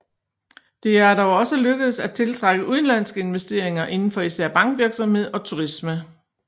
Det er dog også lykkedes at tiltrække udenlandske investeringer inden for især bankvirksomhed og turisme